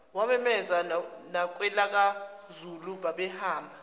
wawenza nakwelakwazulu babehamba